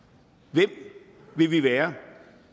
hvem vil vi være